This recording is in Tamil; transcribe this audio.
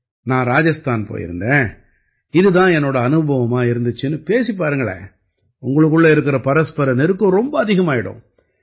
நான் ராஜஸ்தான் போயிருந்தேன் இது தான் என்னோட அனுபவமா இருந்திச்சுன்னு பேசிப் பாருங்களேன் உங்களுக்குள்ள இருக்கற பரஸ்பர நெருக்கம் ரொம்ப அதிகமாயிடும்